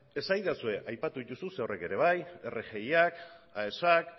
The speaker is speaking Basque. esadazue aipatu dituzu zer horrek ere bai rgiak aesak